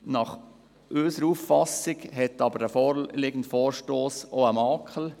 Nach unserer Auffassung hat jedoch der vorliegende Vorstoss auch einen Makel.